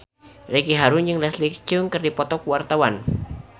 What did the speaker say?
Ricky Harun jeung Leslie Cheung keur dipoto ku wartawan